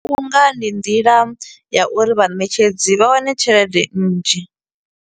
U nga ndi nḓila, ya uri vhaṋetshedzi vha wane tshelede nnzhi.